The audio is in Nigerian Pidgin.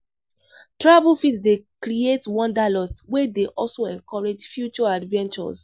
Travel fit dey create wanderlust, wey dey also encourage future adventures.